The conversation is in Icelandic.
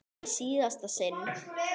Það var í síðasta sinn.